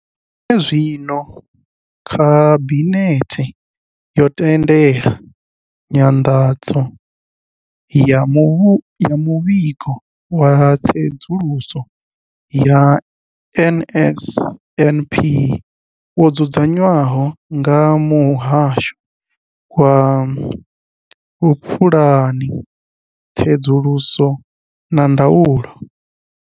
Zwenezwino, Khabinethe yo tendela nyanḓadzo ya Muvhigo wa Tsedzuluso ya NSNP wo dzudzanywaho nga Muhasho wa Vhupulani, Tsedzuluso na Ndaulo.